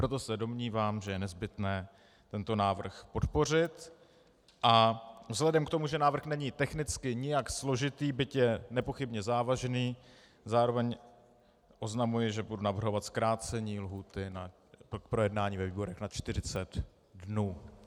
Proto se domnívám, že je nezbytné tento návrh podpořit, a vzhledem k tomu, že návrh není technicky nějak složitý, byť je nepochybně závažný, zároveň oznamuji, že budu navrhovat zkrácení lhůty k projednání ve výborech na 40 dnů.